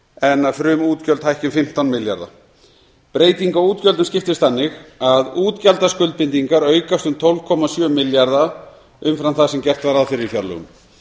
en að frumútgjöld hækki um fimmtán milljarða breyting á útgjöldum skiptist þannig að útgjaldaskuldbindingar aukast um tólf komma sjö milljarða umfram það sem gert var ráð fyrir í fjárlögum